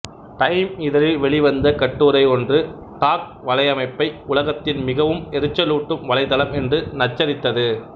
time இதழில் வெளிவந்த கட்டுரை ஒன்று டாக்ட் வலையமைப்பை உலகத்தின் மிகவும் எரிச்சலூட்டும் வலைத்தளம் என்று நச்சரித்தது